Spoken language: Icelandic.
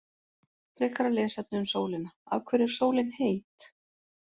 Frekara lesefni um sólina: Af hverju er sólin heit?